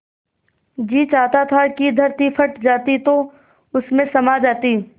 जी चाहता था कि धरती फट जाती तो उसमें समा जाती